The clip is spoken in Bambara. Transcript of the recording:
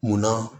Munna